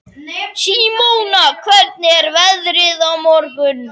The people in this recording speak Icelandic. Símona, hvernig er veðrið á morgun?